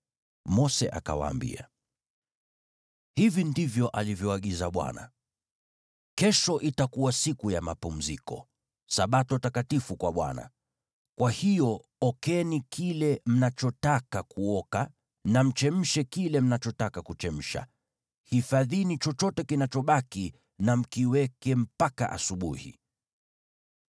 Mose akawaambia, “Hivi ndivyo alivyoagiza Bwana : ‘Kesho itakuwa siku ya mapumziko, Sabato takatifu kwa Bwana . Kwa hiyo okeni kile mnachotaka kuoka na mchemshe kile mnachotaka kuchemsha. Hifadhini chochote kinachobaki na mkiweke mpaka asubuhi.’ ”